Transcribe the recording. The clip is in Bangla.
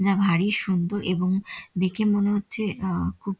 যা ভারী সুন্দর এবং দেখে মনে হচ্ছে আ খুব--